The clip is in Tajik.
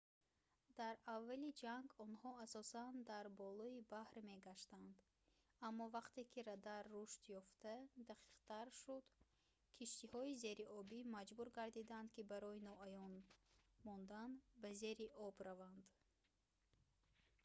дар аввали ҷанг онҳо асосан дар болои баҳр мегаштанд аммо вақте ки радар рушд ёфта дақиқтар шуд киштиҳои зериобӣ маҷбур гардиданд ки барои ноаён мондан ба зери об раванд